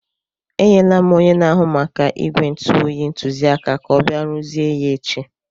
Enyere m onye na-ahụ maka ígwè ntu oyi ntụziaka ka ọ bịa rụzie ya echi.